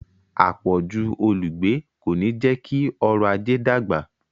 “àpọ̀jù olùgbé ” kò ní jẹ́ kí ọrọ̀-ajé dàgbà.